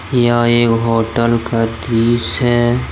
यह एक होटल का दृश्य है।